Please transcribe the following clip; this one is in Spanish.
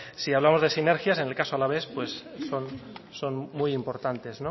si hablamos de sinergias en el caso alavés son muy importantes